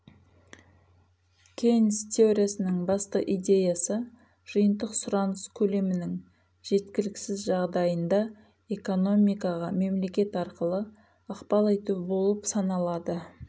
кейнс теориясының басты идеясы жиынтық сұраныс көлемінің жеткіліксіз жағдайында экономикаға мемлекет арқылы ықпал ету болып саналады